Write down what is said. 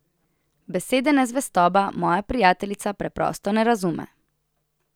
Besede nezvestoba moja prijateljica preprosto ne razume.